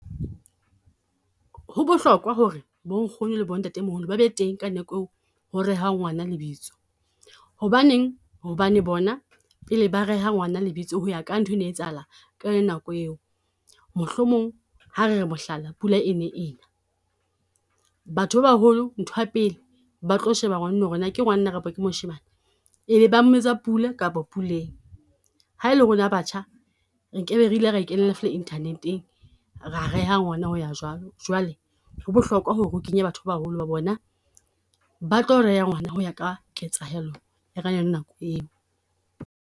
Ho bohlokwa ho re bo nkgono le bo ntatemoholo ba be teng ka nako eo ho rehwang ngwana lebitso. Hobaneng? Hobane bona pele ba reha ngwana lebitso ho ya ka nthwe ne etsahala ka yona nako eo. Mohlomong ha re re mohlala pula e ne ena, batho ba baholo nthwa pele ba tlo sheba ngwanenwa ho re na ke ngwanana kapo ke moshemane? E be ba mmitsa Pula kapo Puleng. Ha e le rona batjha nke be re ile ra e kenela fela Internet-eng, ra reha ngwana ho ya jwang. Jwale ho bohlokwa ho re o kenye batho ba baholo ho ba bona, ba tlo reha ngwana ho ya ka ketsahello ya ka yona nako eo.